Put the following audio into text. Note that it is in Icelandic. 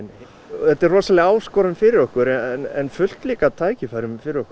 þetta er rosaleg áskorun fyrir okkur en fullt líka af tækifærum fyrir okkur